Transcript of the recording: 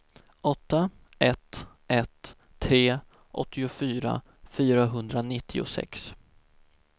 åtta ett ett tre åttiofyra fyrahundranittiosex